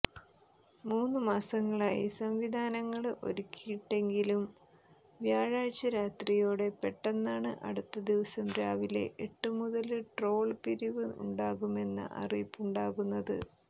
മൂന്നുമാസമായി സംവിധാനങ്ങള് ഒരുക്കിയിട്ടെങ്കിലും വ്യാഴാഴ്ച രാത്രിയോടെ പെട്ടെന്നാണ് അടുത്തദിവസം രാവിലെ എട്ടുമുതല് ടോള് പിരിവ് ഉണ്ടാകുമെന്ന അറിയിപ്പുണ്ടാകുന്നത്